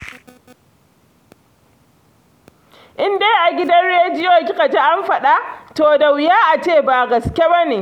In dai a gidan rediyo kika ji an faɗa, to da wuya a ce ba gaske ba ne